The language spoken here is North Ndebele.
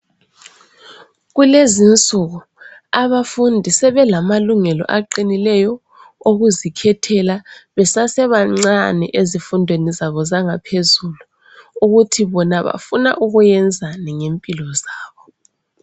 Kulezinsuku, abafundi sebelamalungelo aqinileyo okuzikhethela besese bancane ezifundweni zabo zangaphezulu ukuthi bona bafuna ukuyenzani ngempilo zabo.